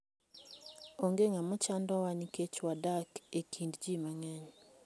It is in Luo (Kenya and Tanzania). Onge ng'ama chandowa nikech wadak e kind ji mang'eny.